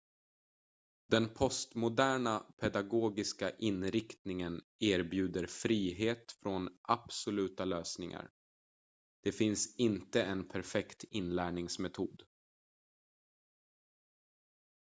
den postmoderna pedagogiska inriktningen erbjuder frihet från absoluta lösningar det finns inte en perfekt inlärningsmetod